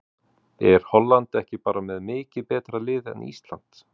Er Holland ekki bara með mikið betra lið en Ísland?